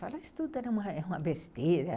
Falava que isso tudo era uma besteira.